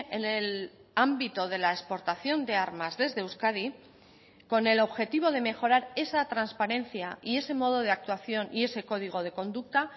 en el ámbito de la exportación de armas desde euskadi con el objetivo de mejorar esa transparencia y ese modo de actuación y ese código de conducta